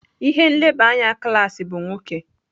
Ihe nleba anya klaasị bụ nwoke.